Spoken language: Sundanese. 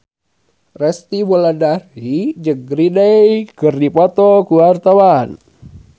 Resty Wulandari jeung Green Day keur dipoto ku wartawan